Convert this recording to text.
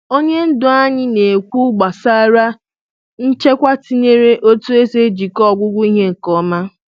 Onye ndu anyị na-ekwu gbasara nchekwa tinyere otu e si ejikwa ọgwụgwụ ihe nke ọma.